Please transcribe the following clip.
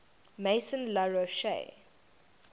maison la roche